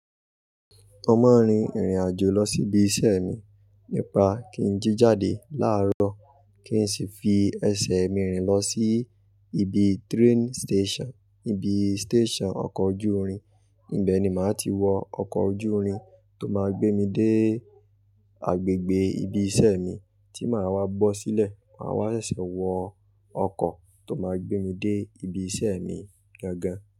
Ọmọ rìn ìrìn àjò lọ sí ibi iṣẹ́ mi. Nípa kí n jí jáde láàrọ̀ kí n sì fi ẹsẹ̀ mi rìn lọ sí ibi train station, ibi station ọkọ̀ ojú irin. Nibẹ̀ ni màá ti wọ ọkọ̀ ojú irin tó máa gbé mi dé agbègbè ibi iṣẹ́ mi tí màá wá bọ́ sílẹ̀, màá wá ṣẹ̀ṣẹ̀ wọ ọkọ̀ tó máa gbé mi dé ibi iṣẹ́ mi gangan.